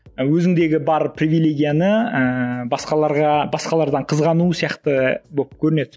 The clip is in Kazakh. өзіңдегі бар привилегияны ыыы басқаларға басқалардан қызғану сияқты болып көрінеді